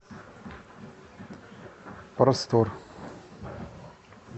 простор